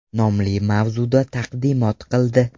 nomli mavzuda taqdimot qildi.